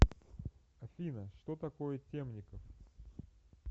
афина что такое темников